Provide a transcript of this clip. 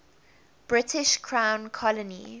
british crown colony